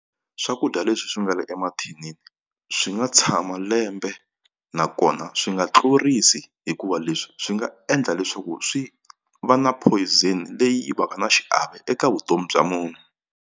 Swakudya leswi swi nga le emathinini swi nga tshama lembe nakona swi nga tlurisi hikuva leswi swi nga endla leswaku swi va na poison leyi va ka na xiave eka vutomi bya munhu.